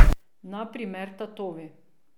Na primer tatovi.